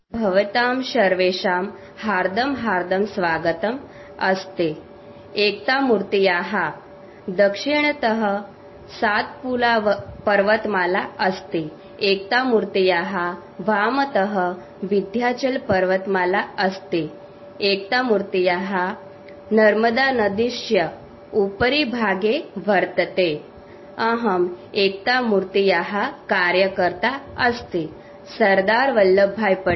sound clip Statue of Unity no need to transcribe the byte